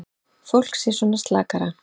Fólk sé svona slakara.